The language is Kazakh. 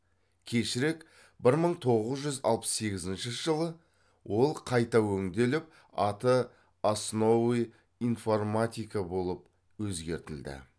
кешірек бір мың тоғыз жүз алпыс сегізінші жылы ол қайта өңделіп аты основы информатика болып өзгертілді